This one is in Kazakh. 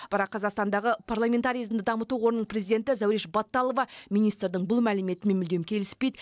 бірақ қазақстандағы парламентаризмді дамыту қорының президенті зәуреш батталова министрдің бұл мәліметімен мүлдем келіспейді